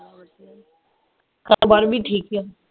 ਕਾਰੋਬਾਰ ਵੀ ਠੀਕ ਈ ਆ